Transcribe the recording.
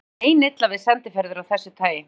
Honum var meinilla við sendiferðir af þessu tagi.